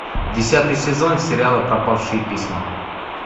десятый сезон сериала пропавшие письма